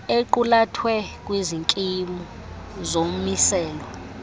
equlathwe kwizikimu zomiselo